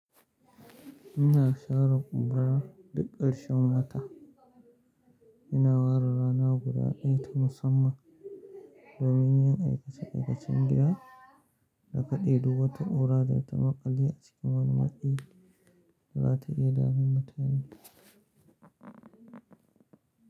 Ina share ƙura duk ƙarshen wata. Ina warware rana guda ɗaya ta musamman domin yin aikace-aikacen gida, da kaɗe dubu wata ƙura da ta maƙale a cikin wani maɗi da za ta iya damun mutane.